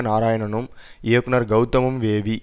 நாராயணனும் இயக்குனர் கௌதமும் வேவி